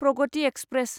Pragati express